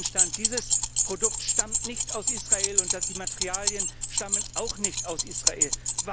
Auf denen stand Dieses Produkt stammt nicht aus Israel, und die Materialien stammen auch nicht aus Israel.